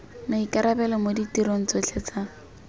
maikarabelo mo ditirong tsotlhe tsa